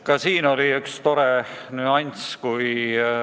Ka selle teema puhul märkasin toredat nüanssi.